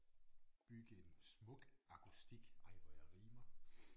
Bygge en smuk akustik ej hvor jeg rimer